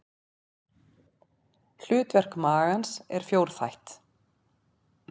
Hlutverk magans er fjórþætt.